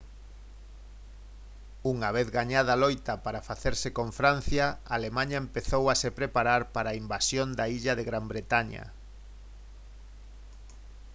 unha vez gañada a loita para facerse con francia alemaña empezou a se preparar para a invasión da illa de gran bretaña